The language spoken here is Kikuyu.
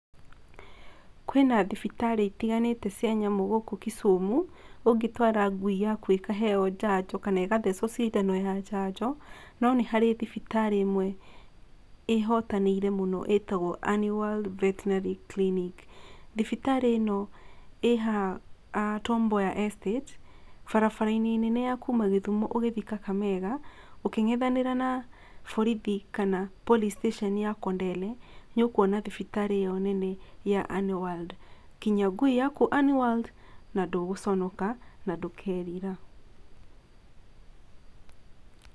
Kwĩna thibitarĩ itiganĩte cia nyamũ gũkũ Kisumu ũngĩtwara ngui yaku ĩkaheo njanjo kana ĩkathecwo cindano ya njanjo, no nĩ harĩ thibitarĩ ĩmwe ĩhotanĩire mũno ĩtagwo Ani World Vetinary Clinic. Thibitarĩ ĩno ĩhaha Tom Mboya Estate, barabara-inĩ nene ya kuuma Gĩthumũ ũgĩthii Kakamega, ũkĩngetherana na borithi kana Police Station ya Kondere nĩ ũkwona thibitarĩ ĩno nene ya Ani World kinyia ngui yaku Ani World, na ndũgũconoka na ndũkerira.